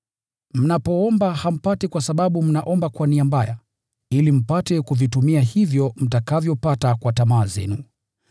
Mnapoomba hampati kwa sababu mnaomba kwa nia mbaya, ili mpate kuvitumia hivyo mtakavyopata kwa tamaa zenu.